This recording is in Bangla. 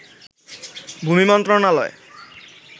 ভূমি মন্ত্রণালয়